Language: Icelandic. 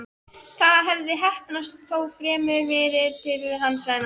Það hafði heppnast, þó fremur fyrir tilstilli hennar en hans.